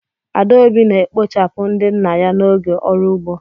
Adaobi na-ekpochapụ ndị nna ya n'oge ọrụ ugbo.